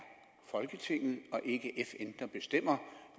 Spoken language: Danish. folketinget og ikke fn der bestemmer